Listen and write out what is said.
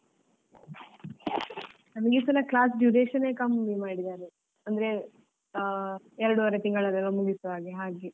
ನಮ್ಗೀಸಲ class duration ಎ ಕಮ್ಮಿ ಮಾಡಿದ್ದಾರೆ ಅಂದ್ರೆ ಆ ಎರಡುವರೆ ತಿಂಗಳಲ್ಲೇ ಮುಗಿಸುವ ಹಾಗೆ ಹಾಗೆ.